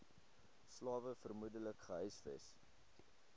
slawe vermoedelik gehuisves